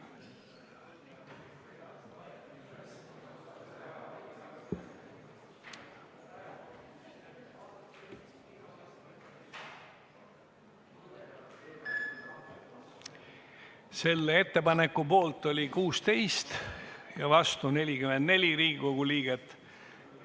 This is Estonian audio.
Hääletustulemused Selle ettepaneku poolt oli 16 ja vastu 44 Riigikogu liiget.